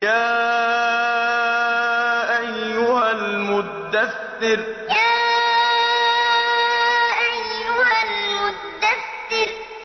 يَا أَيُّهَا الْمُدَّثِّرُ يَا أَيُّهَا الْمُدَّثِّرُ